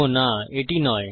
ওহ না এটি নয়